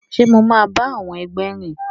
Ṣe mo ma ba àwọn ẹgbẹ rìn?